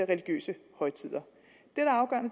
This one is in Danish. religiøse højtider